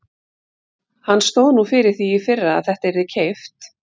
Hann stóð nú fyrir því í fyrra að þetta yrði keypt.